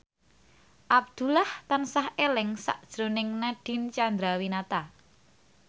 Abdullah tansah eling sakjroning Nadine Chandrawinata